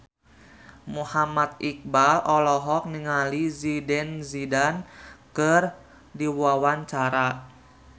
Muhammad Iqbal olohok ningali Zidane Zidane keur diwawancara